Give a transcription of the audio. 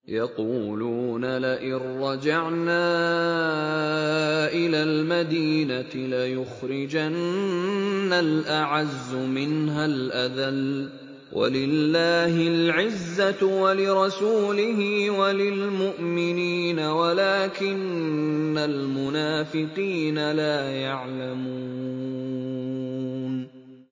يَقُولُونَ لَئِن رَّجَعْنَا إِلَى الْمَدِينَةِ لَيُخْرِجَنَّ الْأَعَزُّ مِنْهَا الْأَذَلَّ ۚ وَلِلَّهِ الْعِزَّةُ وَلِرَسُولِهِ وَلِلْمُؤْمِنِينَ وَلَٰكِنَّ الْمُنَافِقِينَ لَا يَعْلَمُونَ